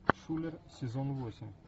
шулер сезон восемь